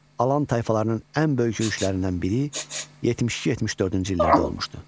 Alan tayfalarının ən böyük yürüşlərindən biri 72-74-cü illərdə olmuşdur.